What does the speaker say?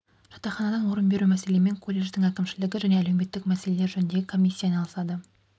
жатақханадан орын беру мәселемен колледждің әкімшілігі және әлеуметтік мәселелер жөніндегі комиссия айналысады